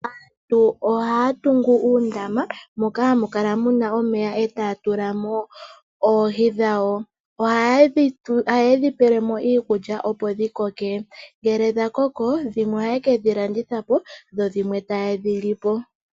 Aantu ohaya tungu uundama moka hamu muna omeya etaya tulamo oohi dhawo. Ohayedhi pelemo iikulya opo dhikoke . Ngele dhakoko, dhimwe ohaye kedhi landithapo, dho dhimwe tayedhi lipo.